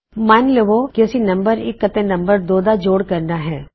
ਮਨ ਲਵੋ ਕਿ ਅਸੀ ਨਮ1 ਅਤੇ ਨਮ2 ਦਾ ਜੋੜ ਕਰਨਾ ਹੈ